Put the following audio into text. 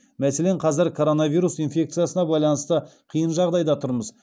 мәселен қазір коронавирус инфекциясына байланысты қиын жағдайда тұрмыз